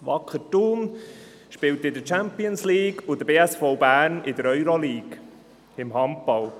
Wacker Thun spielt in der Champions League, der BSV Bern in der Euro-League im Handball.